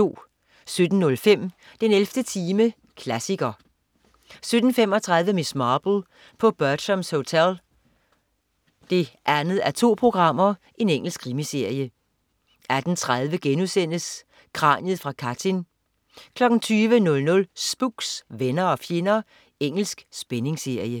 17.05 den 11. time, klassiker 17.35 Miss Marple: På Bertrams Hotel 2:2. Engelsk krimiserie 18.30 Kraniet fra Katyn* 20.00 Spooks: Venner og fjender. Engelsk spændingsserie